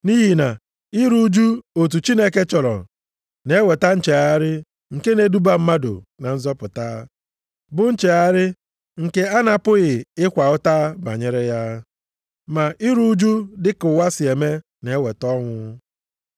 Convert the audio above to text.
Nʼihi na iru ụjụ otu Chineke chọrọ na-eweta nchegharị nke na-eduba mmadụ na nzọpụta, bụ nchegharị nke a na-apụghị ịkwa ụta banyere ya. Ma iru ụjụ dịka ụwa si eme na-eweta ọnwụ.